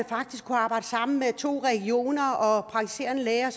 faktisk arbejde sammen med to regioner og praktiserende læger og